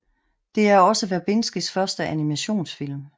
Det er også Verbinskis første animationsfilm